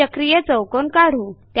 चक्रीय चौकोन काढू